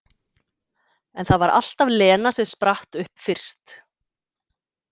En það var alltaf Lena sem spratt upp fyrst.